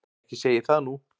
Ekki segi ég það nú.